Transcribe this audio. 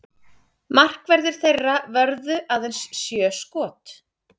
Markverðir þeirra vörðu aðeins sjö skot